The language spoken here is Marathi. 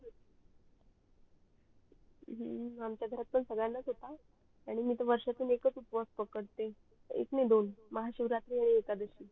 हम्म आमचा घरात पण सगड्यांनाच होता आणि मी त वर्षातून एकच उपास पकद्ते एक नाही दोन महाशिव रात्री आणि एकादशी